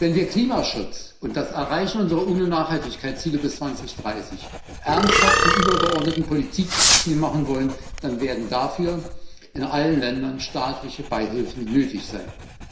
Wenn wir Klimaschutz und das Erreichen unserer UNO Nachhaltigkeitsziele bis 2030 ernsthaft zum übergeordneten Politikziel machen wollen, dann werden dafür in allen Ländern staatliche Beihilfen nötig sein.